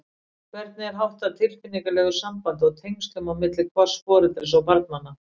Hvernig er háttað tilfinningalegu sambandi og tengslum á milli hvors foreldris og barnanna?